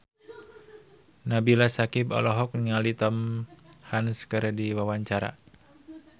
Nabila Syakieb olohok ningali Tom Hanks keur diwawancara